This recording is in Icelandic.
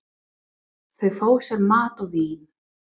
Þau fá sér mat og vín.